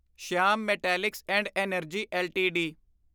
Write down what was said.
Shyam metallics and energy LTD